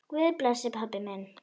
Guð blessi pabba minn.